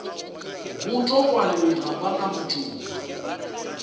botokwane ga ba na matšoba